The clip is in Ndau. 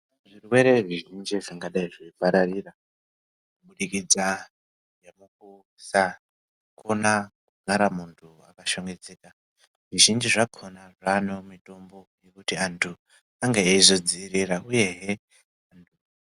Zvirwere zvizhinji zvingadai zveipararira kudikita nekupisha kuna mugara munhu akashambidzika zvizhinji zvakhona zvanewo mutombo wange weizodziwirira uyehe.